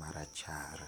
marachar